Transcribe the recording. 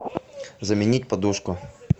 заменить подушку